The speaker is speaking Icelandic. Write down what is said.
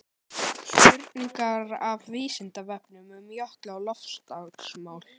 Spurningar af Vísindavefnum um jökla og loftslagsmál.